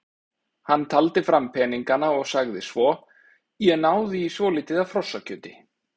Hann taldi fram peningana og sagði svo: Ég náði í svolítið af hrossakjöti.